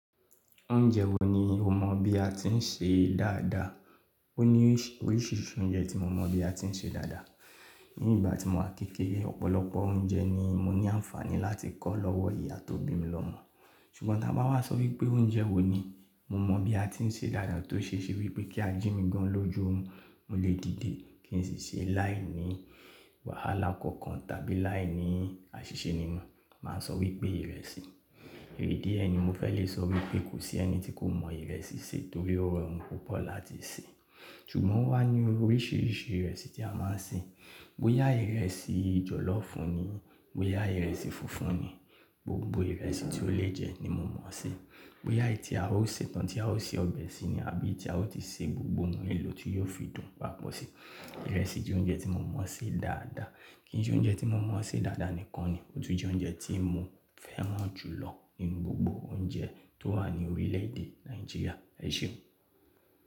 Oúnjẹ wo ni o mọ bí a ti ń ṣe dáadáa? Ó ní oríṣiríṣi oúnjẹ tí mo mọ̀ bí a ti ń ṣe dáadáa. Ní ìgbà tí mo wà ni kékeré, ọ̀pọ̀lọpọ̀ oúnjẹ ni mo ní àǹfààní láti kọ́ lọ́wọ́ ìyá tó bí mi lọmọ. Ṣùgbọ́n tí wọ́n bá wá sọ wípé oúnjẹ wo ni mo mọ bí a ti ń ṣe dáadáa tó ṣe ṣe wípé kí a jí mi gan lóju orun, mo lè dìde kí n sì ṣe e láìní wàhálà kankan tàbí láìní àṣìṣe nínú, màá sọ wípé ìrẹsì. Ìdi e ni mo fẹ́ lè sọ wípé kò sí ẹni tí kò mọ ìrẹsì ṣe torí ó rọrùn púpọ̀ láti ṣe. Ṣùgbọ́n ó wá ní oríṣiríṣi ìrẹsì tí a máa ń ṣe. Bóyá ìrẹsì jọ̀lọ́fùú ni, bóyá ìrẹsì funfun ni, gbogbo ìrẹsì tí ó lè jẹ ní mo mọ̀ sí. Bóyá èyí tí a ó ṣe tán tí a ó se ọbẹ̀ sí ni àbí èyí tí a ó ti ṣe gbogbo nnkan elò tí yóò fi dùn papọ̀ sí. Ìrẹsì jẹ́ oúnjẹ tí mo mọ̀ ṣe dáadáa. Kì í sẹ́ oúnjẹ tí mo mọ̀ ṣe dáadáa nìkan ni, ó tún jẹ́ oúnjẹ tí mo fẹ́ran jùlọ nínú gbogbo oúnjẹ tó wà ní orílẹ̀ èdè Nàìjíríà. Ẹ ṣé.